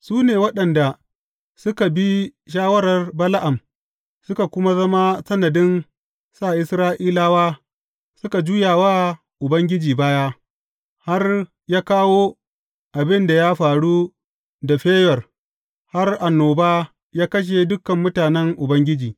Su ne waɗanda suka bi shawarar Bala’am suka kuma zama sanadin sa Isra’ilawa suka juya wa Ubangiji baya, har ya kawo abin da ya faru da Feyor, har annoba ya kashe dukan mutanen Ubangiji.